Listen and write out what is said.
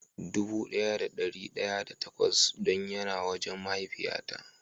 Dubu daya da dari daya da takwas don ya na wajen mahaifiya na.